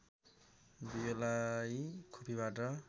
बियोलाई खोपीबाट